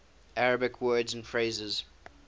arabic words and phrases